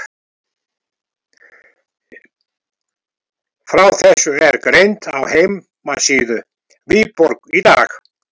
Frá þessu er greint á heimasíðu Viborg í dag.